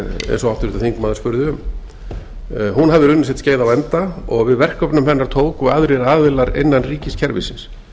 eins og háttvirtur þingmaður spurði hún hefur runnið sitt skeið á enda og við verkefnum hennar tóku aðrir aðilar innan ríkiskerfisins